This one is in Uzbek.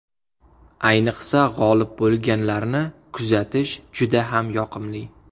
Ayniqsa g‘olib bo‘lganlarni kuzatish juda ham yoqimli.